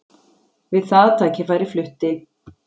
Við það tækifæri flutti